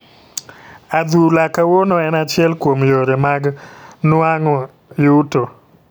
Adhula kawuono en achiel kuom yore mag nwang'o yuto.